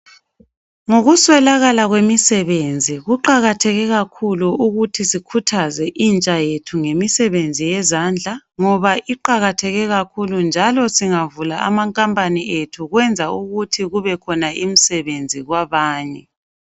Ngokuswelakala kwemisebenzi kuqakatheke kakhulu ukuthi sikhuthaze intsha yethu ngemisebenzi yezandla ngoba iqakatheke kakhulu njalo singavula amankampani ethu kwenza ukuthi kube khona imisebenzi kwabanye.